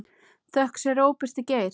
Þökk sé Róberti Geir.